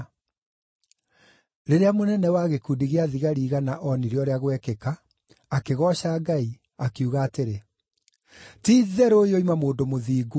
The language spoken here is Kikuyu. Rĩrĩa mũnene wa gĩkundi gĩa thigari igana oonire ũrĩa gwekĩka, akĩgooca Ngai, akiuga atĩrĩ, “Ti-itheru ũyũ oima mũndũ mũthingu.”